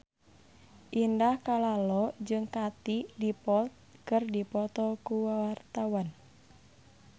Indah Kalalo jeung Katie Dippold keur dipoto ku wartawan